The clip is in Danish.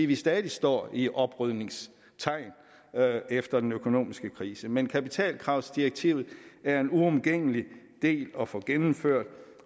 vi stadig står i oprydningens tegn efter den økonomiske krise men kapitalkravsdirektivet er en uomgængelig del at få gennemført